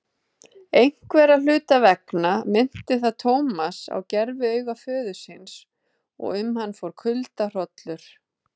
Einhverra hluta vegna minnti það Thomas á gerviauga föður síns og um hann fór kuldahrollur.